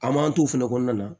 A man t'o fɛnɛ kɔnɔna na